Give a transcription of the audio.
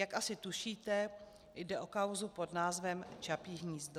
Jak asi tušíte, jde o kauzu pod názvem Čapí hnízdo.